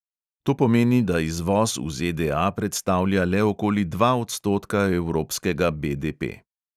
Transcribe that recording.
To pomeni, da izvoz v ZDA predstavlja le okoli dva odstotka evropskega BDP.